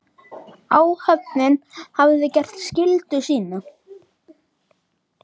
Áhöfnin hafði gert skyldu sína.